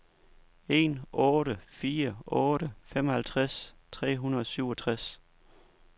en otte fire otte femoghalvtreds tre hundrede og syvogtres